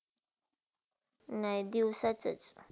नाही दिवसच्चा!